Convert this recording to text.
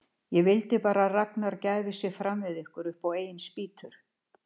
Ég vildi bara að Ragnar gæfi sig fram við ykkur upp á eigin spýtur.